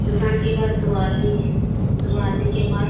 दुकान के पास दो आदमी हैं दो आदमी के पास --